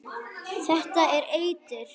Þetta er eitur.